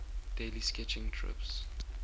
daily sketching trips